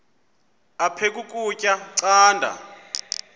aphek ukutya canda